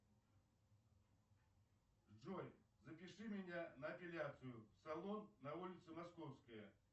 джой запиши меня на эпиляцию салон на улице московская